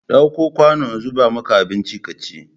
Ɗauko kwanu in zuba maka abinci ka ci!